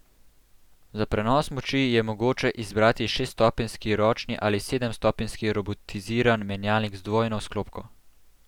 Za prenos moči je mogoče izbrati šeststopenjski ročni ali sedemstopenjski robotiziran menjalnik z dvojno sklopko.